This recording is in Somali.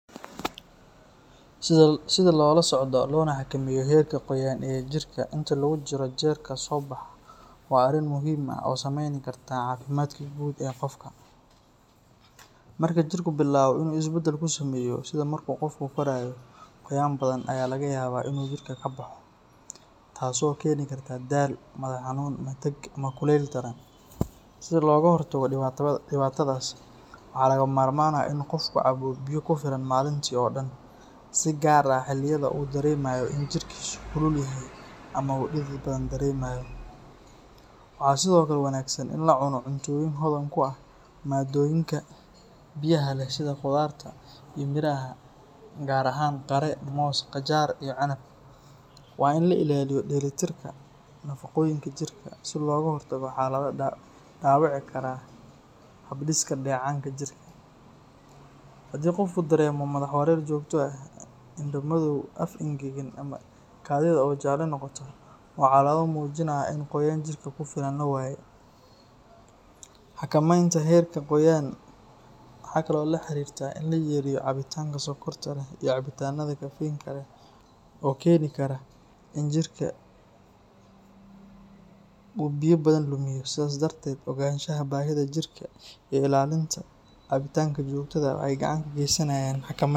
Sidaa lolasocdo loona xakameyo herka qoyan jirka, inta lagujiro jelka sobax waa ari muhim ah oo sameyni karta cafimatka gud ee qofka marku jirka bilabo isbedel kusameyo, sidaa marku qoofka korayo ayan badhan ayaa lagayaba inu jirka kaboxo tasi oo keni karta daal madax xanun, matag ama kulel daran sii loga hortago dibatadhas waxa lagama marman ah inu qofka cabo biyo kufilan malinti oo dan sii gar ah xiliyada udaremayo inu jirka kululyahay amaa uu didid badhan daremayo waxa sidiokale wanagsan ini lacuno cuntoyin hodhan kuah madayinka biyaha leh sidha qudarta iyo miraha gar ahan qire, moos , qajar iyo canab waa ini laa ilaliyo deli tirka nafaqoyinka jirka sii loga hortago xalado dabici karan habdiska, dacanka jirka hadii uu qofka daremo madax xanun jogto ah indhaa madow aaf engegan, kadida oo jalo noqoto waa calamado mujinayan ini qoyan jirka kufilan lawaye xakamenta herka qoyan waxa kale oo laa xarirta ini layareyo cabicanka sokorta leh iyo cabitanada keritinka leh oo keni kara ini jirka uu biyo badhan lumiyo sidhaas darded oganshaha bahida jirka iyo ilalinta cabitanka jogtada aah waxay gacan kageysanayan xakameynta.